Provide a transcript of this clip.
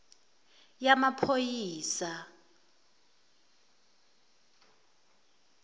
yamaphoyisa